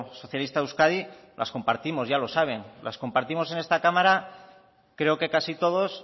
socialista de euskadi las compartimos ya los saben las compartimos en esta cámara creo que casi todos